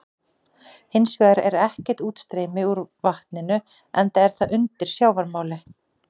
Hins vegar er ekkert útstreymi úr vatninu enda er það undir sjávarmáli.